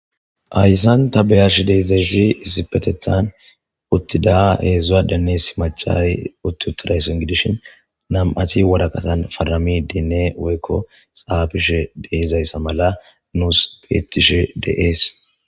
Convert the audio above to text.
Hayssan ta beyashi deezayssi issipetethan uttida heedzdzua denne si macay utti uttidayso in gidishin nam7ati wodaqatan fadrami dinne woykko xaabishe deezayssa mala nuus peetishe deees